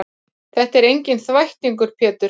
Þetta er enginn þvættingur Pétur.